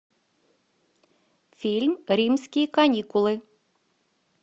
фильм римские каникулы